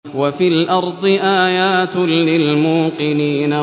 وَفِي الْأَرْضِ آيَاتٌ لِّلْمُوقِنِينَ